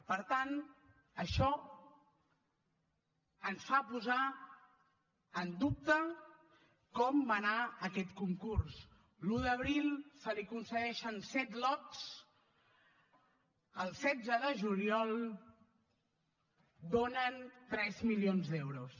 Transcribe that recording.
per tant això ens fa posar en dubte com va anar aquest concurs l’un d’abril se li coincideixen set lots el setze de juliol donen tres milions d’euros